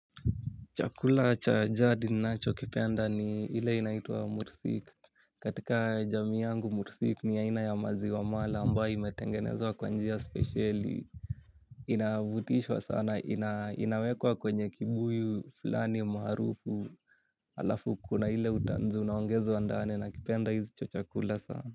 Chakula cha jadi ninacho kipenda ni ile inaitwa mursik. Katika jamii yangu mursik ni aina ya maziwa mala ambayo imetengenezwa kwa njia spesheli. Inavutishwa sana, inawekwa kwenye kibuyu, fulani maharufu. Alafu kuna ile utanzu, unaongezwa ndani nakipenda hicho chakula sana.